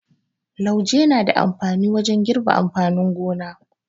Lauje na da amfani wajen girbi amfanin gona.